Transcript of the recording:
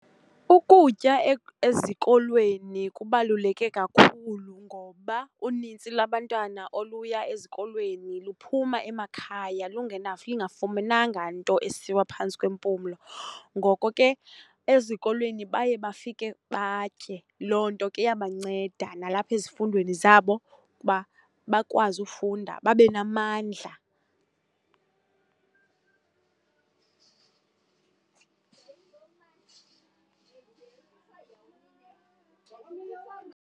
Ukutya ezikolweni kubaluleke kakhulu ngoba unintsi labantwana oluya ezikolweni luphuma emakhaya lungafumenanga nto esiwa phantsi kwempumlo, ngoko ke ezikolweni baye bafike batye. Loo nto ke iyabanceda nalapha ezifundweni zabo ukuba bakwazi ufunda, babe namandla.